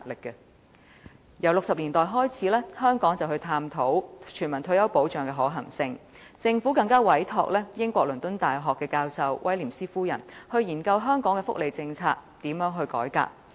由1960年代開始，香港便探討全民退休保障的可行性，政府更委託英國倫敦大學教授威廉斯夫人研究如何改革香港的福利政策。